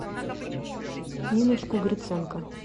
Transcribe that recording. ниночку гриценко